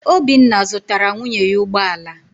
Obinna zụtara nwunye ya ụgbọ ala.